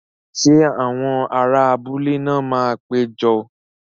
Ṣé àwọn ará abúlé náà máa pé jọ?